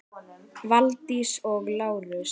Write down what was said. Valdís og Lárus.